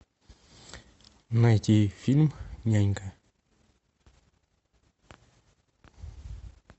найти фильм нянька